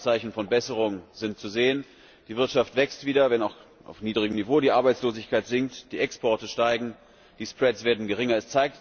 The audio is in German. Erste Anzeichen von Besserung sind zu sehen Die Wirtschaft wächst wieder, wenn auch auf niedrigem Niveau, die Arbeitslosigkeit sinkt, die Exporte steigen, die werden geringer.